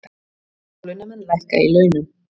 Hálaunamenn lækka í launum